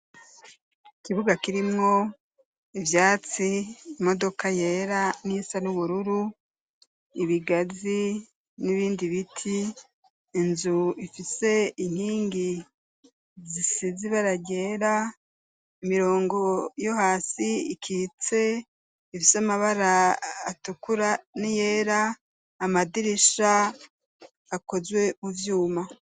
Ikibuga kirimwo ivyatsi, imodoka yera n'iyisa n'ubururu, ibigazi n'ibindi biti, inzu ifise inkingi zisize ibara ryera, imirongo yo hasi ikitse ifise amabara atukura n'iyera, amadirisha akozwe mu vyuma.